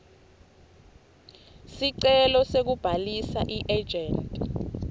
sicelo sekubhalisa iejenti